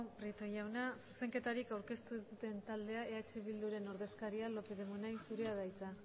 prieto jauna zuzenketarik aurkeztu ez duten taldeak eh bilduren ordezkaria lópez de munain zurea da hitza